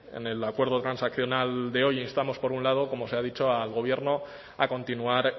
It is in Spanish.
en el acuerdo transaccional de hoy instamos por un lado como se ha dicho al gobierno a continuar